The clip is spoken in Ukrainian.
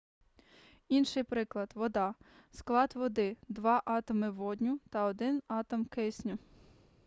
інший приклад вода склад води два атоми водню та один атом кисню